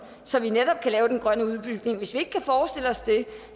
så vi netop kan lave den grønne udbygning hvis vi ikke kan forestille os det